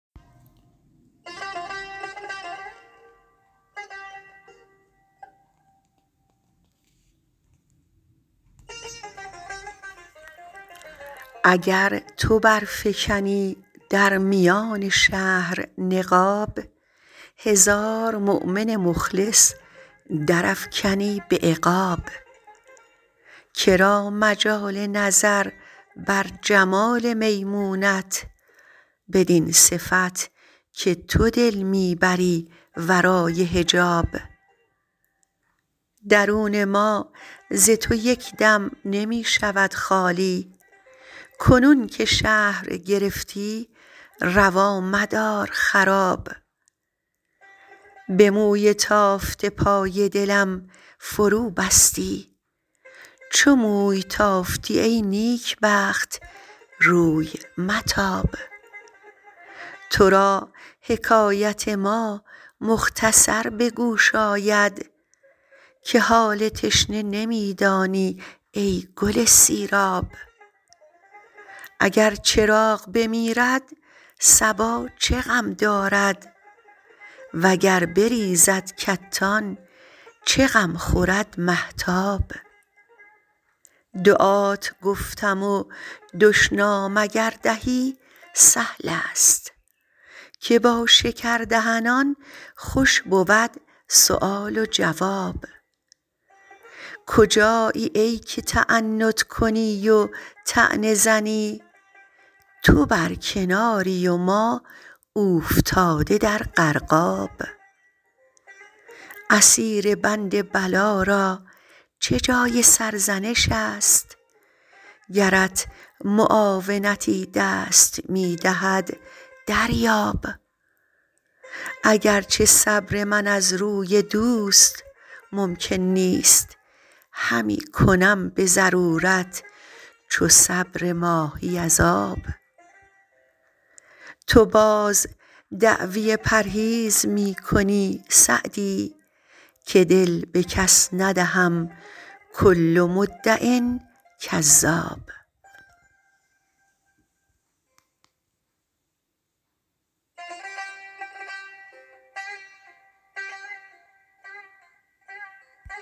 اگر تو برفکنی در میان شهر نقاب هزار مؤمن مخلص درافکنی به عقاب که را مجال نظر بر جمال میمونت بدین صفت که تو دل می بری ورای حجاب درون ما ز تو یک دم نمی شود خالی کنون که شهر گرفتی روا مدار خراب به موی تافته پای دلم فروبستی چو موی تافتی ای نیکبخت روی متاب تو را حکایت ما مختصر به گوش آید که حال تشنه نمی دانی ای گل سیراب اگر چراغ بمیرد صبا چه غم دارد و گر بریزد کتان چه غم خورد مهتاب دعات گفتم و دشنام اگر دهی سهل است که با شکردهنان خوش بود سؤال و جواب کجایی ای که تعنت کنی و طعنه زنی تو بر کناری و ما اوفتاده در غرقاب اسیر بند بلا را چه جای سرزنش است گرت معاونتی دست می دهد دریاب اگر چه صبر من از روی دوست ممکن نیست همی کنم به ضرورت چو صبر ماهی از آب تو باز دعوی پرهیز می کنی سعدی که دل به کس ندهم کل مدع کذاب